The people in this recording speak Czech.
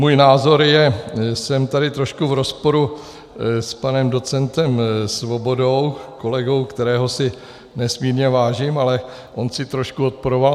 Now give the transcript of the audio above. Můj názor je, že jsem trošku v rozporu s panem docentem Svobodou, kolegou, kterého si nesmírně vážím, ale on si trošku odporoval.